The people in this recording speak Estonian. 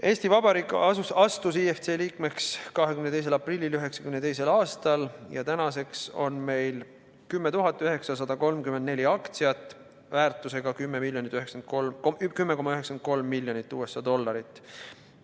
Eesti Vabariik astus IFC liikmeks 22. aprillil 1992. aastal ja tänaseks on meil 10 934 aktsiat väärtusega 10,93 miljonit USA dollarit.